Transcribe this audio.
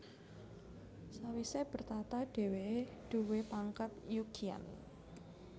Sawise bertahta dheweke duwé pangkat Yu Qian